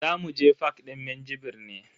Zamu je fak din Minjibir ne.